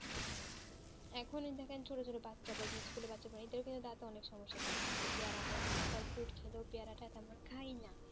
এখনই দেখেন ছোট ছোট বাচ্চা পাবে school এর বাচ্চা পাই এটাও কিন্তু দাঁতেও অনেক সমস্যা থাকে কারণ কিন্তু পেয়ারা আরো সকল food খেলেও পেয়ারাটা আমরা খাই না